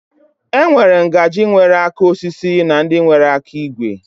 E nwere ngaji nwere aka osisi na ndị nwere aka igwe.